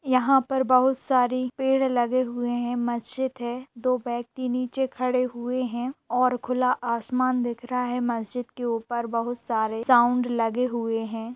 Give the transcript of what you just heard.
यहाँ पर बहुत सारी पेड़ लगे हुए हैं मस्जिद है दो व्यक्ति निचे खड़े हुए हैं और खुला आसमान दिख रहा है मस्जिद के ऊपर बहुत सारे साउंड लगे हुए हैं।